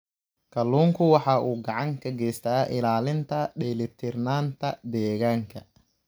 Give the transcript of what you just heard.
Kalluunku waxa uu gacan ka geystaa ilaalinta dheelitirnaanta deegaanka.